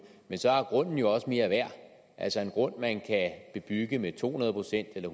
men så er grunden jo også mere værd altså en grund man kan bebygge med to hundrede procent eller